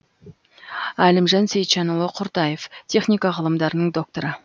әлімжан сейітжанұлы құртаев техника ғылымдарының докторы